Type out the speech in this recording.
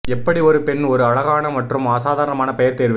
எப்படி ஒரு பெண் ஒரு அழகான மற்றும் அசாதாரண பெயர் தேர்வு